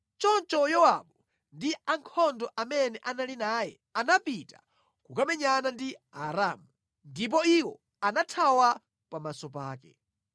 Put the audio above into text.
Choncho Yowabu ndi ankhondo amene anali naye anapita kukamenyana ndi Aaramu, ndipo iwo anathawa pamaso pake.